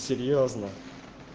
серьёзно